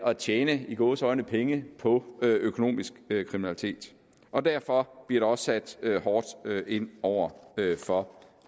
at tjene i gåseøjne penge på økonomisk kriminalitet og derfor bliver der også sat hårdt ind over for